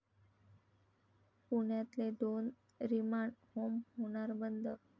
पुण्यातले दोन remand home होणार बंद!